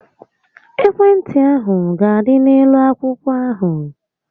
Ekwe ntị ahụ ga-adị n'elu akwụkwọ ahụ